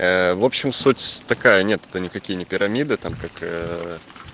ээ в общем суть такая нет это никакие не пирамиды там как ээ